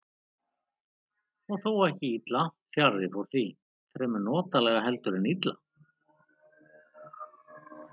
Og þó ekki illa, fjarri fór því, fremur notalega heldur en illa.